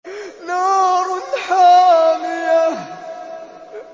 نَارٌ حَامِيَةٌ